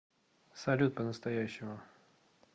салют по настоящему